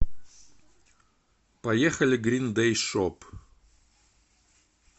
поехали грин дэй шоп